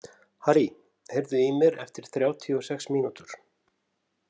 Harrý, heyrðu í mér eftir þrjátíu og sex mínútur.